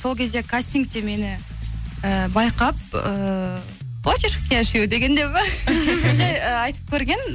сол кезде кастингте мені ііі байқап ііі хочешь в кешью деген деп па жай ы айтып көрген